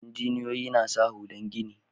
Injiniyoyi na sa hular gini.